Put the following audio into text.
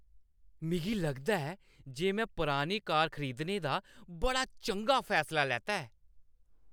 मिगी लगदा ऐ जे में पुरानी कार खरीदने दा बड़ा चंगा फैसला लैता ऐ।